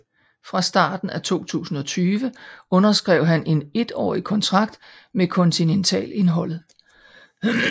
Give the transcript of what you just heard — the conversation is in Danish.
Fra starten af 2020 underskrev han en étårig kontrakt med kontineltalholdet